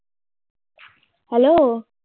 Hello